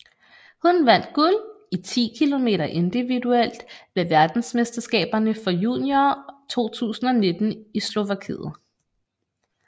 Hun vandt guld i 10 km individuelt ved verdensmesterskaberne for juniorer 2019 i Slovakiet